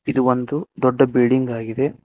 ಇದು ಒಂದು ದೊಡ್ಡ ಬಿಲ್ಡಿಂಗ್ ಆಗಿದೆ.